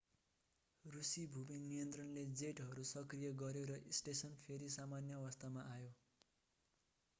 रूसी भूमि नियन्त्रणले जेटहरू सक्रिय गर्‍यो र स्टेसन फेरि सामान्य अवस्थामा आयो।